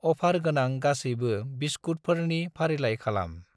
अफार गोनां गासैबो बिस्कुतफोरनि फारिलाइ खालाम।